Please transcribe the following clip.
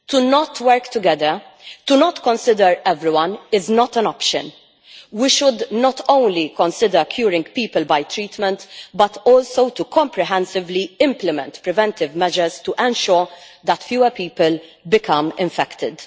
Not to work together, and not to consider everyone, is not an option. We should not only consider curing people by treatment but also comprehensively implement preventive measures to ensure that fewer people become infected.